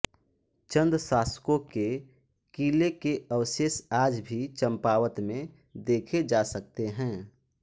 चन्द शासकों के किले के अवशेष आज भी चम्पावत में देखे जा सकते हैं